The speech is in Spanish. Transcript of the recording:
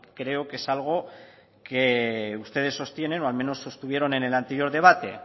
creo que es algo que ustedes sostienen o al menos sostuvieron en el anterior debate